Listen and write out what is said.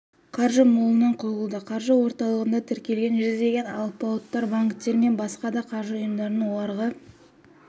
қаржы молынан құйылуда қаржы орталығында тіркелген жүздеген алпауыттар банктер мен басқа да қаржы ұйымдарының оларға